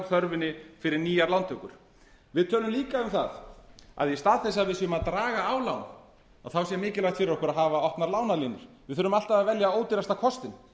þörfinni fyrir nýjar lántökur við tölum líka um það að í stað þess að við séum að draga lán þá sé mikilvægt fyrir okkur að hafa opnað lánalínur við þurfum alltaf að velja ódýrasta kostinn